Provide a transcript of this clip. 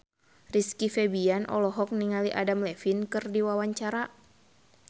Rizky Febian olohok ningali Adam Levine keur diwawancara